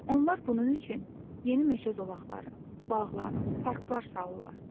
Onlar bunun üçün yeni meşə zolaqları, bağlar, parklar salırlar.